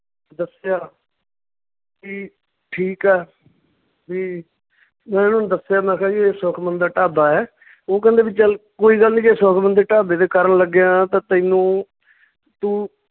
ਦੱਸਿਆ ਕੀ ਠੀਕ ਆ ਵੀ ਮੈਂ ਉਹਨੂੰ ਦੱਸਿਆ ਮੈਂ ਕਿਹਾ ਵੀ ਇਹ ਸੁਖਮਣ ਦਾ ਢਾਬਾ ਏ ਉਹ ਕਹਿੰਦੇ ਵੀ ਚੱਲ ਕੋਈ ਗੱਲ ਨੀ ਜੇ ਸੁਖਮਣ ਦਾ ਢਾਬੇ ਤੇ ਕਰਨ ਲੱਗਿਆ ਤਾਂ ਤੈਨੂੰ ਤੂੰ